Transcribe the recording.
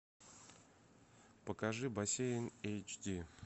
покажи бассейн эйч ди